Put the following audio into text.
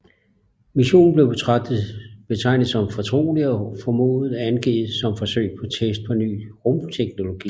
Missionen blev betegnet som fortrolig og formået angivet som forsøg på test af ny rumteknologi